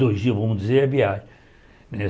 Dois dias, vamos dizer, é viagem né.